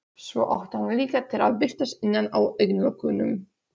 Svo átti hann líka til að birtast innan á augnlokunum.